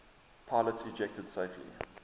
pilots ejected safely